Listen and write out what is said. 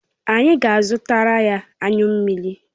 Anyi ga azutaraya anyu mmiri